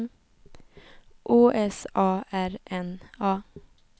Å S A R N A